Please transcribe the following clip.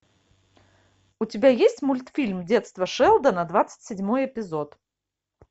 у тебя есть мультфильм детство шелдона двадцать седьмой эпизод